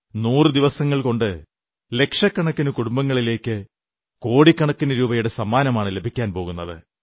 നൂറു ദിവസങ്ങൾകൊണ്ട് ലക്ഷക്കണക്കിന് കുടുംബങ്ങളിലേക്ക് കോടിക്കണക്കിന് രൂപയുടെ സമ്മാനമാണ് ലഭിക്കാൻ പോകുന്നത്